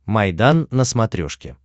майдан на смотрешке